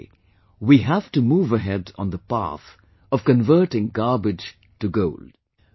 In a way, we have to move ahead on the path of converting garbage to gold